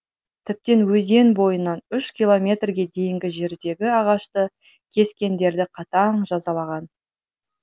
тіптен өзен бойынан үш километрге дейінгі жердегі ағашты кескендерді қатаң жазалаған